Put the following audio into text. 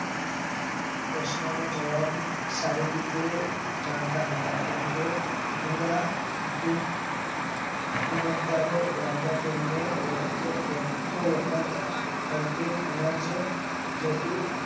પ્રશ્નનો જવાબ સારી રીતે જાણતા હતા કેમ કે ગુર હુકુમત દરે રાજા તેમને વખતો વખત થરપેક અનાજે જતું